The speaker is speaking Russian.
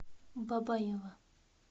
бабаево